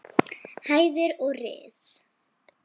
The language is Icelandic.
hæðir og ris.